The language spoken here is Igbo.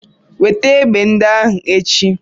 Weta egbe ndị ahụ echi!